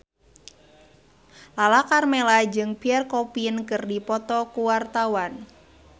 Lala Karmela jeung Pierre Coffin keur dipoto ku wartawan